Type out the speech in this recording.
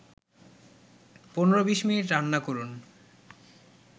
১৫-২০ minute রান্না করুন